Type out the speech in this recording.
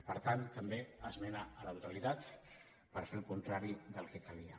per tant també esmena a la totalitat per fer el contrari del que calia